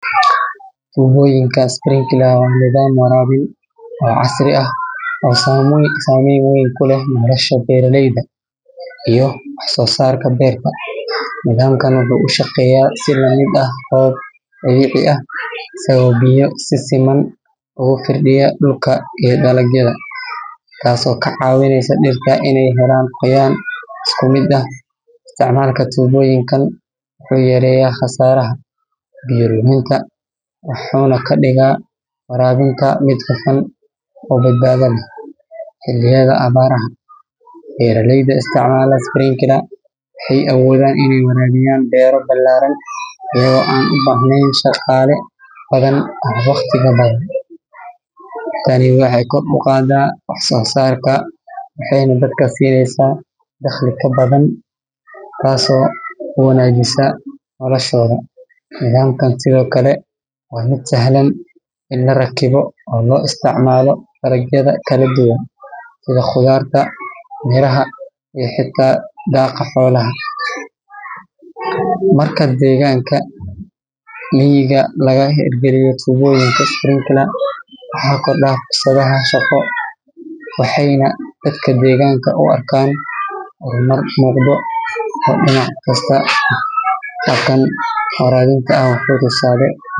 Tubooyinka sprinkler waa nidaam waraabin oo casri ah oo saameyn weyn ku leh nolosha beeraleyda iyo wax-soo-saarka beerta. Nidaamkan wuxuu u shaqeeyaa si la mid ah roob dabiici ah, isagoo biyo si siman ugu firdhiya dhulka iyo dalagyada, taasoo ka caawinaysa dhirta inay helaan qoyaan isku mid ah. Isticmaalka tubooyinkan wuxuu yareeyaa khasaaraha biyo luminta, wuxuuna ka dhigaa waraabinta mid hufan oo badbaado leh xilliyada abaaraha. Beeraleyda isticmaala sprinkler waxay awoodaan inay waraabiyaan beero ballaaran iyagoo aan u baahnayn shaqaale badan ama waqtiga badan. Tani waxay kor u qaaddaa wax-soo-saarka waxayna dadka siinaysaa dakhli ka badan, taasoo toos u wanaajisa noloshooda. Nidaamkan sidoo kale waa mid sahlan in la rakibo oo loo isticmaalo dalagyada kala duwan sida khudaarta, miraha iyo xitaa daaqa xoolaha. Marka deegaanka miyiga laga hirgeliyo tubooyinka sprinkler, waxaa kordha fursadaha shaqo, waxayna dadka deegaanka u arkaan horumar muuqda oo dhinac kasta ah. Habkan waraabinta ah wuxuu tusaale.